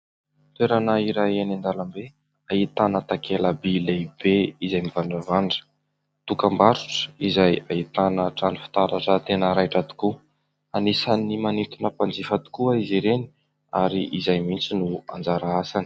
Toerana iray eny an-dalambe ahitana takela-by lehibe izay mivandravandra, dokam-barotra izay ahitana trano fitaratra tena raitra tokoa, anisan'ny manintona mpanjifa tokoa izy ireny ary izay mihitsy no anjara asany.